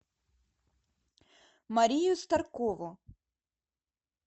марию старкову